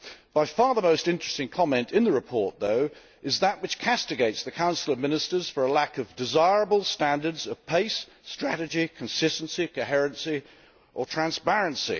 By far the most interesting comment in the report though is that which castigates the Council of Ministers for a lack of desirable standards of pace, strategy, consistency, coherence or transparency.